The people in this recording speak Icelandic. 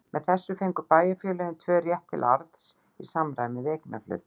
Með þessu fengu bæjarfélögin tvö rétt til arðs í samræmi við eignarhlut.